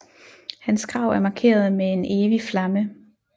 Hans grav er markeret med en evig flamme